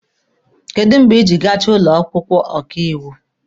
Kedụ mgbe ijiri gachaa ụlọ akwụkwọ ọkaiwu?